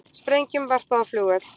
Sprengjum varpað á flugvöll